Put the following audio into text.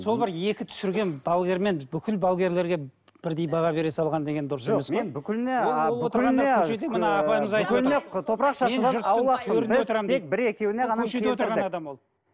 сол бір екі түсірген балгермен біз бүкіл балгерлерге бірдей баға бере салған деген дұрыс емес отырған адам ол